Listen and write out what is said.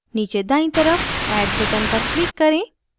नीचे दायीं तरफ add button पर click करें